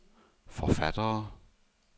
forfattere